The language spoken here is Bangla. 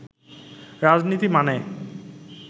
রাজনীতি মানে